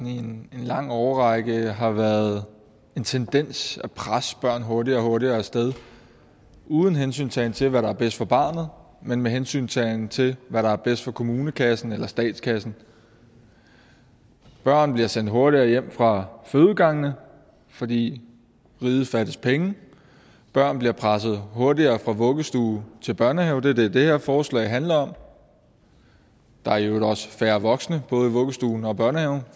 i en lang årrække har været en tendens til at presse børn hurtigere og hurtigere af sted uden hensyntagen til hvad der er bedst for barnet men med hensyntagen til hvad der er bedst for kommunekassen eller statskassen børn bliver sendt hurtigere hjem fra fødegangene fordi riget fattes penge børn bliver presset hurtigere fra vuggestue til børnehave det er det det her forslag handler om der er i øvrigt også færre voksne i både vuggestuen og børnehaven